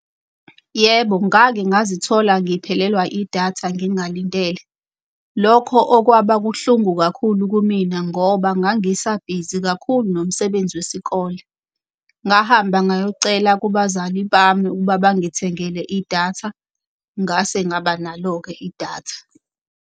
Yebo, ngake ngazithola ngiphelelwa idatha, ngingalindele. Lokho okwaba buhlungu kakhulu kumina ngoba ngangisabhizi kakhulu nomsebenzi wesikole. Ngahamba ngayocela kubazali bami ukuba bangithengele idatha, ngase ngaba nalo-ke idatha.